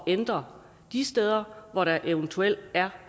ændre de steder hvor der eventuelt er